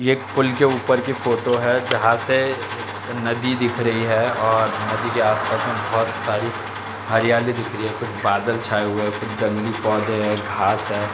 ये एक पूल के ऊपर की फोटो है जहाँ से नदी दिख रही है और नदी के आस-पास में बहुत साड़ी हरियाली दिख रही है कुछ बादल छाए हुए है कुछ जंगली पौधे हैं घांस है।